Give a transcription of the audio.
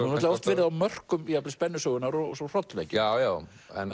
oft verið á mörkum jafnvel spennusögunnar og svo hrollvekjunnar já já